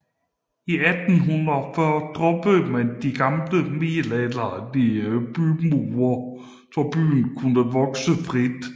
I 1840 droppede man de gamle middelalderlige bymure så byen kunne vokse frit